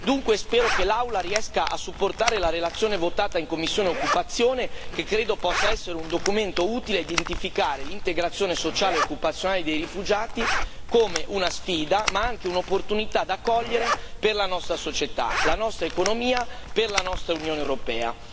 Dunque, spero che l'Aula riesca a sostenere la relazione votata in commissione occupazione, che credo possa essere un documento utile nell'identificare l'integrazione sociale e occupazionale dei rifugiati come una sfida, ma anche un'opportunità da cogliere per la nostra società, la nostra economia e la nostra Unione europea.